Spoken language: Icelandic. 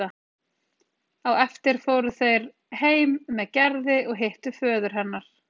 Á eftir fóru þeir heim með Gerði og hittu föður hennar.